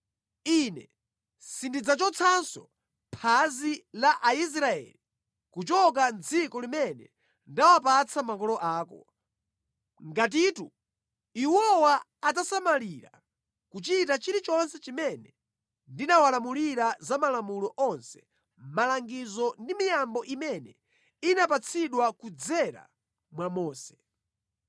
Ine sindidzachotsanso phazi la Aisraeli kuchoka mʼdziko limene ndawapatsa makolo ako, ngatitu iwowa adzasamalira kuchita chilichonse chimene ndinawalamulira za malamulo onse, malangizo ndi miyambo imene inapatsidwa kudzera mwa Mose.”